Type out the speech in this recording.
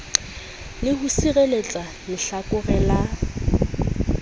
le ho sireletsa lehlakore la